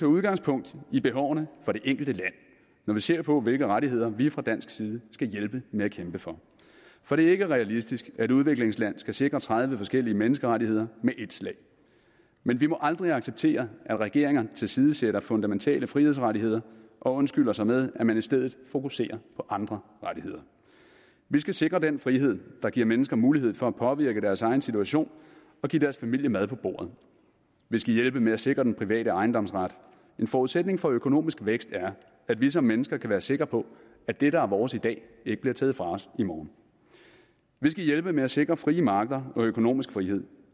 udgangspunkt i behovene for det enkelte land når vi ser på hvilke rettigheder vi fra dansk side skal hjælpe med at kæmpe for for det er ikke realistisk at et udviklingsland skal sikre tredive forskellige menneskerettigheder med et slag men vi må aldrig acceptere at regeringer tilsidesætter fundamentale frihedsrettigheder og undskylder sig med at man i stedet fokuserer på andre rettigheder vi skal sikre den frihed der giver mennesker mulighed for at påvirke deres egen situation og give deres familie mad på bordet vi skal hjælpe med at sikre den private ejendomsret en forudsætning for økonomisk vækst er at vi som mennesker kan være sikre på at det der er vores i dag ikke bliver taget fra os i morgen vi skal hjælpe med at sikre frie markeder og økonomisk frihed